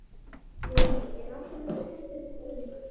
Lillý: Er alltaf jafn mikil stemning hérna?